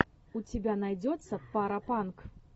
у тебя найдется парапанк